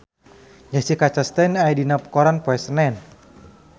Jessica Chastain aya dina koran poe Senen